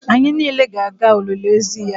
Anyị niile ga-aga olili ozu ya